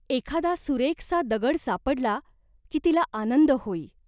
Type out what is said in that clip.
एखादा सुरेखसा दगड सापडला, की तिला आनंद होई.